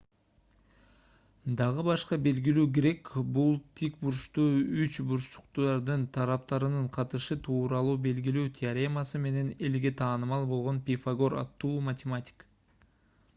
дагы башка белгилүү грек бул тик бурчтуу үч бурчтуктардын тараптарынын катышы тууралуу белгилүү теоремасы менен элге таанымал болгон пифагор аттуу математик